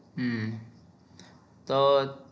હમ તો